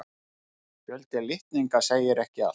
Fjöldi litninga segir ekki allt.